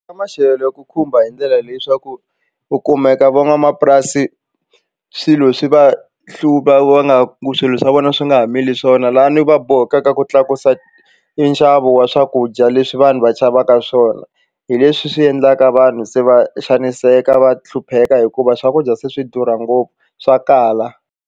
Ka maxelo ku khumba hi ndlela leyi swa ku u kumeka van'wamapurasi swilo swi va hluva va nga ku swilo swa vona swi nga ha mili swona laha ni va bohekaka ku tlakusa nxavo wa swakudya leswi vanhu va xavaka swona hi leswi swi endlaka vanhu se va xaniseka va hlupheka hikuva swakudya se swi durha ngopfu swa kala.